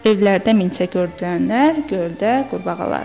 Evlərdə milçəkdürənlər, göldə qurbağalar.